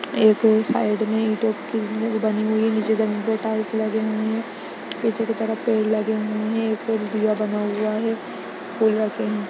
एक साइड में बनी हुई है नीचे जमीन पे टाइल्स लगी हुए हैं पीछे की तरफ पेड़ लगे हुए हैं एक और दीया बना हुआ है फूल रखे हैं।